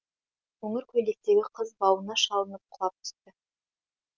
қоңыр көйлектегі қыз бауына шалынып құлап түсті